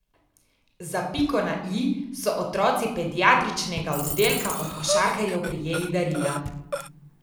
Za piko na i so otroci pediatričnega oddelka od košarkarjev prejeli darila.